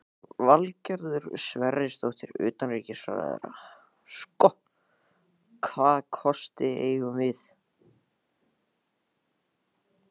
Valgerður Sverrisdóttir, utanríkisráðherra: Sko, hvaða kosti eigum við?